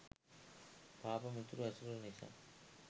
පාප මිතුරු ඇසුර නිසා